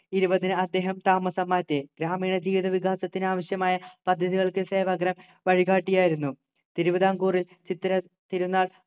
ഇരുപതിന്‌ അദ്ദേഹം താമസം മാറ്റി ഗ്രാമീണ ജീവിത വികാസത്തിന് ആവശ്യമായ പദ്ധതികൾക്ക് സേവഗ്രാം വഴികാട്ടിയായിരുന്നു തിരുവിതാംകൂറിൽ ചിത്തിര തിരുനാൾ